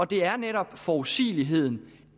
det er netop forudsigeligheden